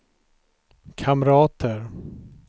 kamrater